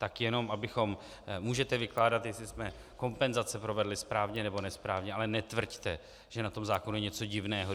Tak jenom abychom - můžete vykládat, jestli jsme kompenzace provedli správně, nebo nesprávně, ale netvrďte, že na tom zákonu je něco divného.